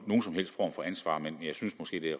ansvar men jeg synes måske det